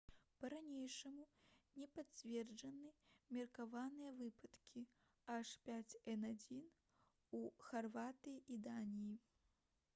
па-ранейшаму не пацверджаны меркаваныя выпадкі h5n1 у харватыі і даніі